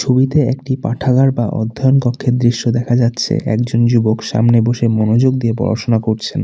ছবিতে একটি পাঠাগার বা অধ্যয়ন কক্ষের দৃশ্য দেখা যাচ্ছে একজন যুবক সামনে বসে মনোযোগ দিয়ে পড়াশোনা করছেন।